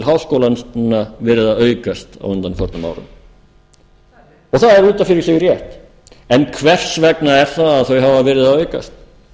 háskólans núna verið að aukast á undanförnum árum og það er út af fyrir sig rétt en hvers vegna er það að þau hafa verið að aukast